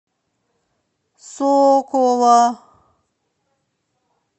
сокола